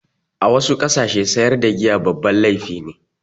A wasu ƙasashe sayar da giya babban laifi ne.